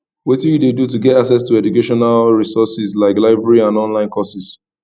wetin you dey do to get access to educational resources like libraries and online courses